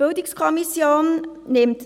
Die BiK nimmt